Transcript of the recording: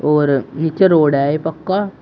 और नीचे रोड है ये पक्का--